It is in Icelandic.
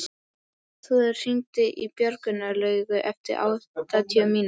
Svanþrúður, hringdu í Björnlaugu eftir áttatíu mínútur.